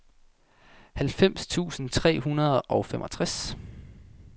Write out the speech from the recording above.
halvfems tusind tre hundrede og femogtres